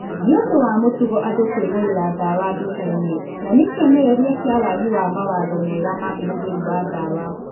Nĩ ũndũ wa mũtugo andũ kũĩgũrĩra dawa duka-inĩ na nĩ kĩonereria kĩa waagi wa mawatho mega ma ũhũthĩri wa dawa